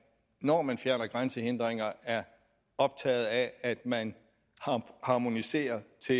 når man fjerner grænsehindringer er optaget af at man harmoniserer til